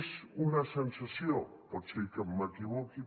és una sensació pot ser que m’equivoqui